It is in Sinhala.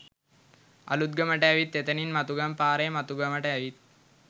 අඵත්ගමට ඇවිත් එතනින් මතුගම පාරෙ මතුගමට ඇවිත්